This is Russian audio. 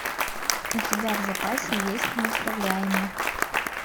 у тебя в запасе есть неуправляемый